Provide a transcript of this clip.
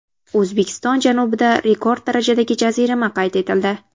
O‘zbekiston janubida rekord darajadagi jazirama qayd etildi.